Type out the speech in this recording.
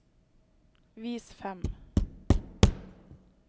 vis fem